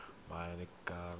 ba e ka nnang baagi